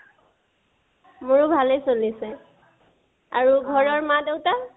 মোৰো ভালেই চলি আছে । আৰু ঘৰৰ মা-দেউতা?